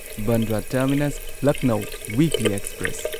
Bandra terminus Lucknow weekly express